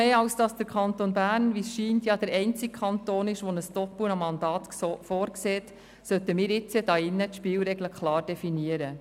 Da der Kanton Bern, wie es scheint, der einzige Kanton ist, der ein Doppelmandat vorsieht, sollten wir jetzt hier drin erst recht die Spielregeln klar definieren.